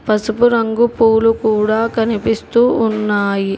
పసుపు రంగు పూలు కూడా కనిపిస్తూ ఉన్నాయి.